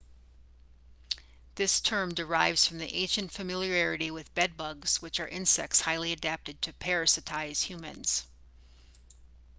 this term derives from ancient familiarity with bed-bugs which are insects highly adapted to parasitize humans